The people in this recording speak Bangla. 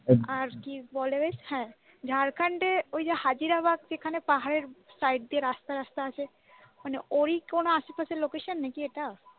আর কি বলে বেশ হ্যাঁ ঝাড়খণ্ডের ওই যে হাজারীবাগ যেখানে পাহাড়ের side দিয়ে রাস্তা রাস্তা আছে মানে ওই কোন আশপাশের location নাকি এটা?